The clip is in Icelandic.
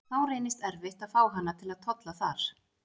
Þá reynist erfitt að fá hana til að tolla þar.